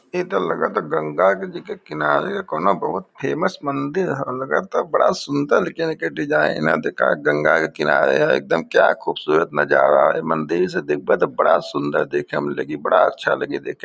ई त लगता गंगा के जी के किनारे कौनो बहुत फेमस मंदिर ह लगता। बड़ा सुन्दर लेकिन एके डिज़ाइन आ देख गंगा के किनारे ह एकदम क्या खूबसूरत नजारा ह। ई मंदिर से देखब तो बड़ा सुन्दर देखे में लगी बड़ा अच्छा लगी देखे में।